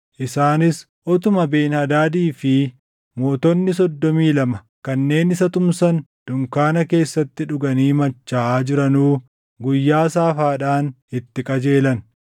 Isaanis utuma Ben-Hadaadii fi mootonni soddomii lama kanneen isa tumsan dunkaana keessatti dhuganii machaaʼaa jiranuu guyyaa saafaadhaan itti qajeelan.